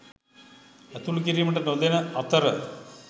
ඇතුළු කිරීමට නොදෙන අතර